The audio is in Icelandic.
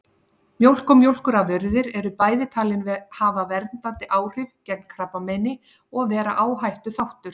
Mjólk og mjólkurafurðir eru bæði talin hafa verndandi áhrif gegn krabbameini og vera áhættuþáttur.